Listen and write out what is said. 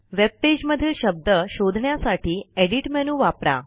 webpage मधील शब्द शोधण्यासाठी एडिट मेनू वापरा